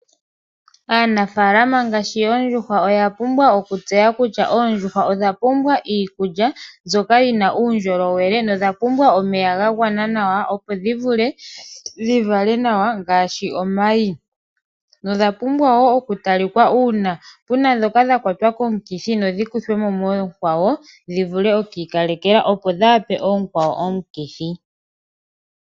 Aanafaalama ngaashi yoondjuhwa oyapumbwa okutseya kutya oondjuhwa odha pumbwa iikulya mbyoka yina uundjolowele na odhapumbwa omeya gagwana nawa opo dhivule dhivale nawa ngaashi, omayi, dho odhapumbwa wo okutalikwa uuna puna dhoka dhakwata komukithi na odhikuthwemo moonkwawo dhivule oku ikalekelwa opo dhaape oonkwawo omukithi.